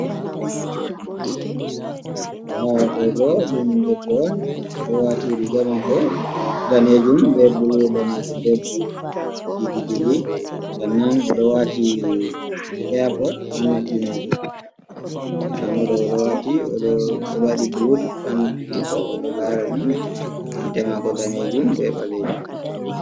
Ndaa ɗo bo ɗum debbo on, o ɗo waati riiga maako daneejum be bulu, daneejum be bulu didi. Sannan o ɗo waati iyapod haa noppi maako. Ndaa mo ɗo,o ɗo waati o ɗo waɗi bulutut haa noppi maako.O ɗo laara ni gite maako daneejum be ɓaleejum.